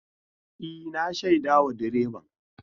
E, na shaidawa direban.